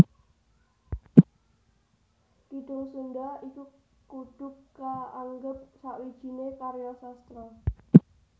Kidung Sundha iku kudu kaanggep sawijining karya sastra